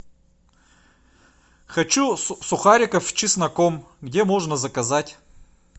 хочу сухариков с чесноком где можно заказать